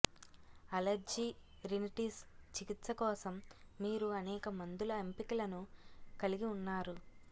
allergy rhinitis చికిత్స కోసం మీరు అనేక మందుల ఎంపికలను కలిగి ఉన్నారు